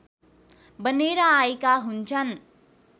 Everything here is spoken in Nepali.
बनेर आएका हुन्छन्